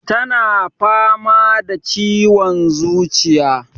Tana fama da ciwon zuciya